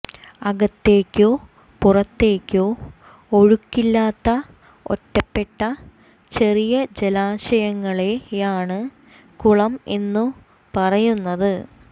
അകത്തേക്കോ പുറത്തേക്കോ ഒഴുക്കില്ലാത്ത ഒറ്റപ്പെട്ട ചെറിയ ജലാശയങ്ങളെയാണ് കുളം എന്നു പറയുന്നത്